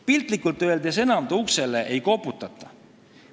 Piltlikult öeldes enam ta uksele ei koputata.